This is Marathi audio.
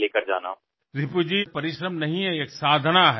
रिपु जी हे केवळ परिश्रम नाहीत तर ही एक साधना आहे